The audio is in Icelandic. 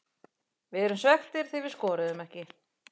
Við erum svekktir því við skoruðum ekki.